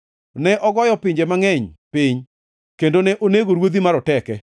Ne ogoyo pinje mangʼeny piny, kendo ne onego ruodhi maroteke,